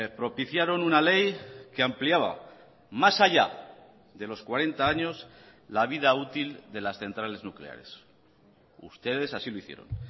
propiciaron una ley que ampliaba más allá de los cuarenta años la vida útil de las centrales nucleares ustedes así lo hicieron